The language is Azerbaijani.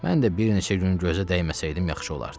Mən də bir neçə gün gözə dəyməsəydim yaxşı olardı.